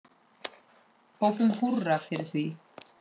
Hrópum húrra fyrir því.